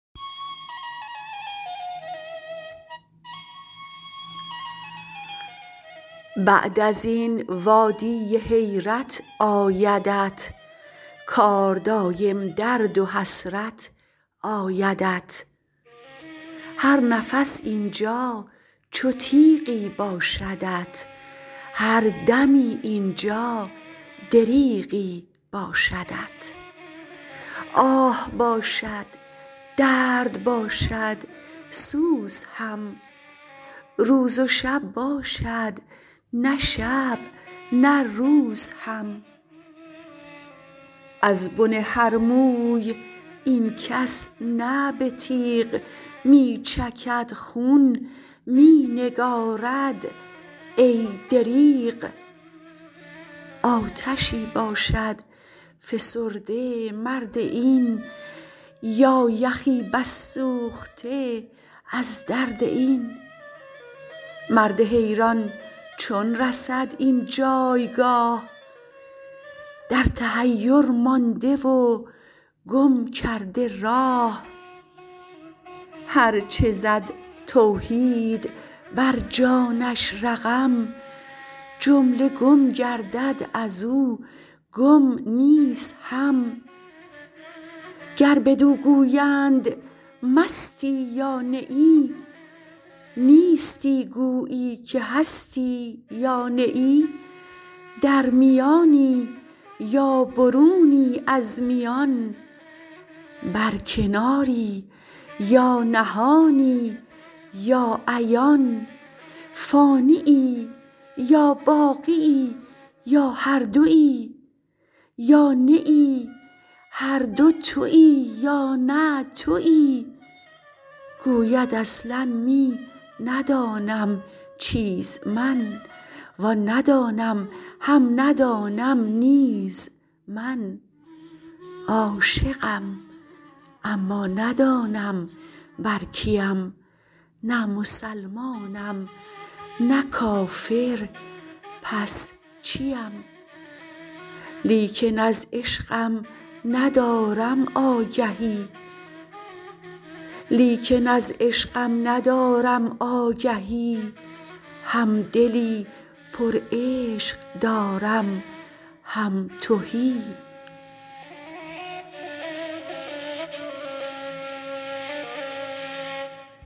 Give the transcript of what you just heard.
بعد ازین وادی حیرت آیدت کار دایم درد و حسرت آیدت هر نفس اینجا چو تیغی باشدت هر دمی اینجا دریغی باشدت آه باشد درد باشد سوز هم روز و شب باشد نه شب نه روز هم ازبن هر موی این کس نه به تیغ می چکد خون می نگارد ای دریغ آتشی باشد فسرده مرد این یا یخی بس سوخته از درد این مرد حیران چون رسد این جایگاه در تحیر مانده و گم کرده راه هرچ زد توحید بر جانش رقم جمله گم گردد از و گم نیز هم گر بدو گویند مستی یا نه ای نیستی گویی که هستی یا نه ای در میانی یا برونی از میان بر کناری یا نهانی یا عیان فانیی یا باقیی یا هر دوی یا نه هر دو توی یا نه توی گوید اصلا می ندانم چیز من وان ندانم هم ندانم نیز من عاشقم اما ندانم بر کیم نه مسلمانم نه کافر پس چیم لیکن از عشقم ندارم آگهی هم دلی پرعشق دارم هم تهی